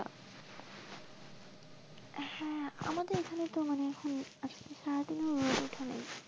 এখানে তো মানে এখনো আজ কে সারা দিনে রোদ ওঠেনি,